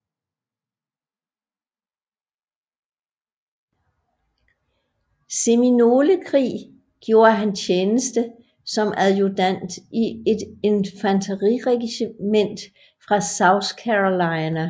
Seminolekrig gjorde han tjeneste som adjudant i et infanteriregiment fra South Carolina